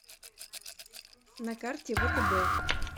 на карте втб